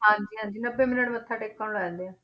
ਹਾਂਜੀ ਹਾਂਜੀ ਨੱਬੇ minute ਮੱਥਾ ਟੇਕਣ ਨੂੰ ਲੱਗ ਜਾਂਦੇ ਆ।